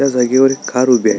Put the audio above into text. त्या जागेवर एक कार उभी आहे.